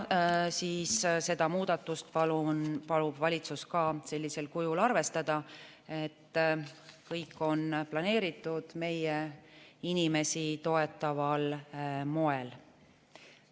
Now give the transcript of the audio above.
Seda muudatust palub valitsus ka sellisel kujul arvestada, kõik on planeeritud meie inimesi toetaval moel.